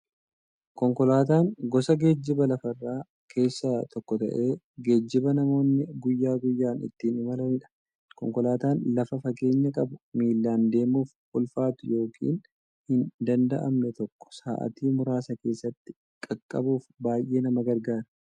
Konkolaataan gosa geejjiba lafarraa keessaa tokko ta'ee, geejjiba namoonni guyyaa guyyaan ittiin imalaniidha. Konkolaataan lafa fageenya qabu, miillan deemuuf ulfaatu yookiin hin danda'amne tokko sa'aatii muraasa keessatti qaqqabuuf baay'ee nama gargaara.